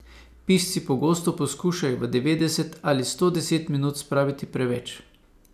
Pisci pogosto poskušajo v devetdeset ali sto deset minut spraviti preveč.